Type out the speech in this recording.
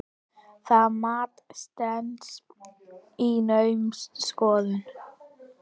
Það mat stenst naumast skoðun.